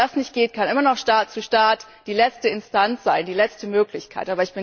Wenn das nicht geht, kann immer noch Staat zu Staat die letzte Instanz, die letzte Möglichkeit sein.